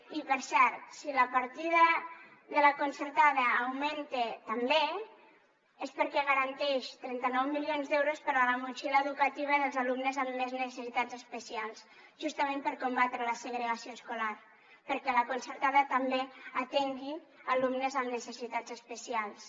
i per cert si la partida de la concertada augmenta també és perquè garanteix trenta nou milions d’euros per a la motxilla educativa dels alumnes amb més necessitats especials justament per combatre la segregació escolar perquè la concertada també atengui alumnes amb necessitats especials